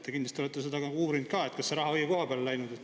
Te kindlasti olete seda uurinud, kas see raha on läinud õigesse kohta.